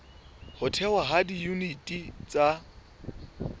ho thehwa ha diyuniti tsa